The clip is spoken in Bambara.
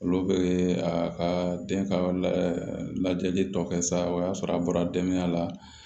Olu bɛ a ka den ka lajɛli tɔ kɛ sa o y'a sɔrɔ a bɔra denbaya la